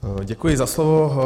Děkuji za slovo.